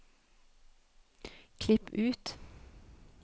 Klipp ut